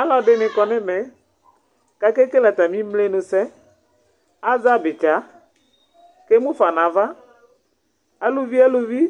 Alɔdini ya nu ɛmɛ, ku akekele ata mi imlenusɛ, azɛ abitsa , ku emu fa nu ava, aluvi eluvi